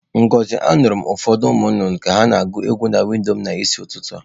Ngozi, anuru m ufodu nnụnụ na-agu egwu na windo m n'isi ututu a.